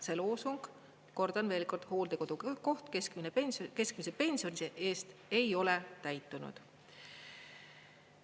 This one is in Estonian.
See loosung, kordan veel kord, "hooldekodukoht keskmise pensioni eest", ei ole täitunud.